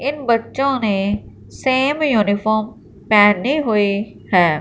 इन बच्चों ने same uniform पहनी हुई है।